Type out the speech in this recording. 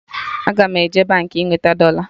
Aga m eje Baankị ị nweta dọla